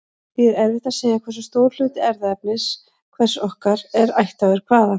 Því er erfitt að segja hversu stór hluti erfðaefnis hvers okkar er ættaður hvaðan.